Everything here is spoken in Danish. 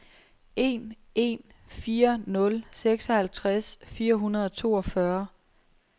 en en fire nul seksoghalvtreds fire hundrede og toogfyrre